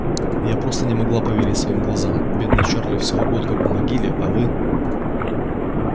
я просто не могла поверить своим глазам бедный чарли всего год как в могиле а вы